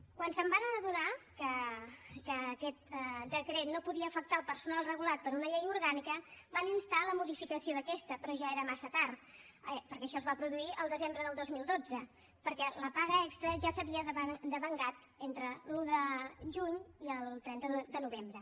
quan es van adonar que aquest decret no podia afectar el personal regulat per una llei orgànica van instar la modificació d’aquesta però ja era massa tard perquè això es va produir el desembre del dos mil dotze perquè la paga extra ja s’havia meritat entre l’un de juny i el trenta de novembre